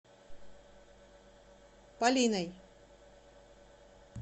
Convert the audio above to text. полиной